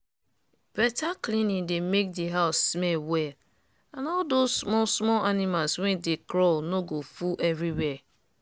better cleaning dey make di house smell well and all those small small animals wey dey crawl no go full every where.